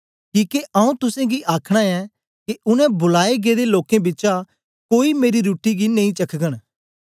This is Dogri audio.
किके आऊँ तुसेंगी आखना ऐं के उनै बुलाए गेदे लोकें बिचा कोई मेरी रुट्टी गी नेई चखघंन